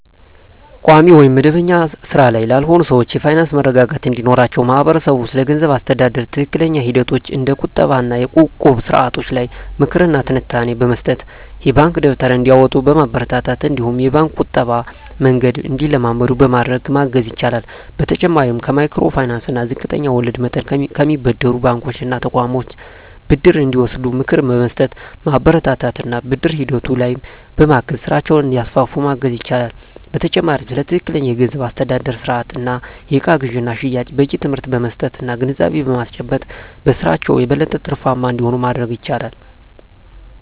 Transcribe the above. ቋሚ ወይም መደበኛ ሥራ ላይ ላልሆኑ ሰዎች የፋይናንስ መረጋጋት እንዲኖራቸው ማህበረሰቡ ስለገንዘብ አስተዳደር ትክክለኛ ሂደቶች እንደ ቁጠባ እና እቁብ ስርዓቶች ላይ ምክር እና ትንታኔ በመስጠት፣ የባንክ ደብተር እንዲያወጡ በማበረታታት እነዲሁም የባንክ የቁጠባ መንገድን እንዲለምዱ በማድረግ ማገዝ ይችላል። በተጨማሪም ከማይክሮ ፋይናንስ እና ዝቅተኛ ወለድ መጠን ከሚያበድሩ ባንኮች እና ተቋማት ብድር እንዲወስዱ ምክር በመስጠት፣ በማበረታታት እና ብድር ሂደቱ ላይም በማገዝ ስራቸውን እንዲያስፋፉ ማገዝ ይቻላል። በተጨማሪም ስለ ትክክለኛ የገንዘብ አስተዳደር ስርአት እና የእቃ ግዥና ሽያጭ በቂ ትምህርት በመስጠት እና ግንዛቤ በማስጨበጥ በስራቸው የበለጠ ትርፋማ እንዲሆኑ ማድረግ ይቻላል።